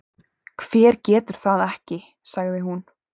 Hver getur það ekki? sagði hún.